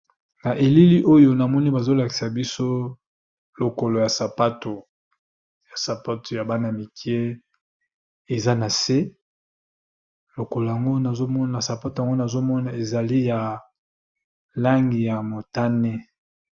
na elili oyo namoni bazolakisa biso lokolo ya sapato ya bana mike eza na se lokoloa sapato yango nazomona ezali ya langi ya motane